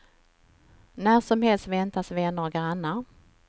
När som helst väntas vänner och grannar.